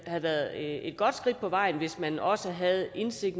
havde været et godt skridt på vejen hvis man også havde indsigt